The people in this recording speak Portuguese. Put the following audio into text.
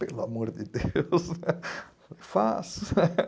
Pelo amor de Deus, eu falei, faço.